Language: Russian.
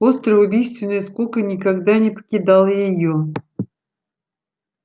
острая убийственная скука никогда не покидала её